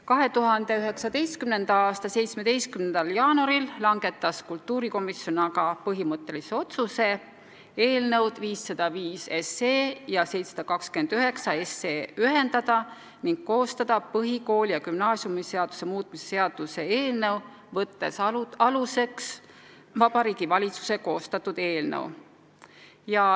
2019. aasta 17. jaanuaril langetas kultuurikomisjon aga põhimõttelise otsuse eelnõud 505 ja 729 ühendada ning koostada põhikooli- ja gümnaasiumiseaduse muutmise seaduse eelnõu, võttes aluseks Vabariigi Valitsuse koostatud eelnõu.